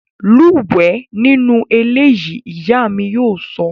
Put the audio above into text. Lúwẹ̀ẹ́ nínú eléyìí! Ìyá mi yóò sọ